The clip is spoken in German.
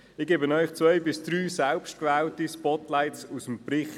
Ich gebe Ihnen zwei selbst gewählte Spotlights aus dem Bericht: